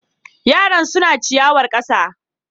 Yaran suna ciyawar ƙasa.